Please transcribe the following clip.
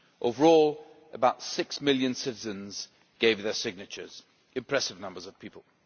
Overall, about 6 million citizens gave their signatures impressive numbers of people.